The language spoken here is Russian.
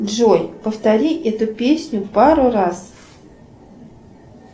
джой повтори эту песню пару раз